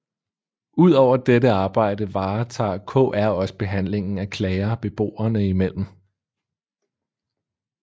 Udover dette arbejde varetager KR også behandlingen af klager beboerne imellem